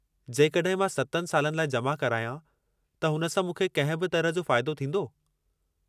जेकॾहिं मां 7 सालनि लाइ जमा करायां, त हुन सां मूंखे कंहिं बि तरह जो फ़ाइदो थींदो?